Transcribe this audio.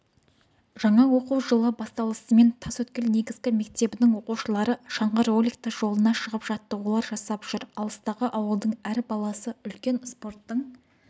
жаңа оқу жылы басталысымен тасөткел негізгі мектебінің оқушылары шаңғы роликті жолына шығып жаттығулар жасап жүр алыстағы ауылдың әр баласы үлкен спорттың